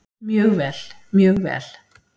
Mjög vel, mjög vel.